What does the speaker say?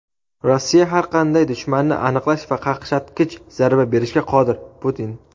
Rossiya har qanday dushmanni aniqlash va qaqshatqich zarba berishga qodir — Putin.